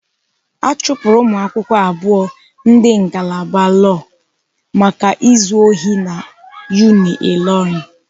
A chụpụrụ umuakwukwo abụọ ndị ngalaba lọọ maka ịzụ ohi na Unilorin.